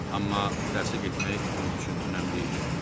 Amma dərsə getmək onun üçün önəmli idi.